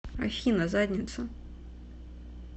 афина задница